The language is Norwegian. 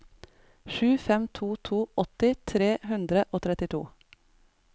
sju fem to to åtti tre hundre og trettito